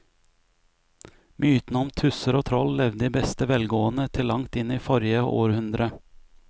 Mytene om tusser og troll levde i beste velgående til langt inn i forrige århundre.